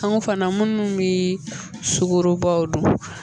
Kanko fana minnu bi sukorobaw dun